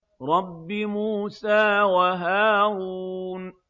رَبِّ مُوسَىٰ وَهَارُونَ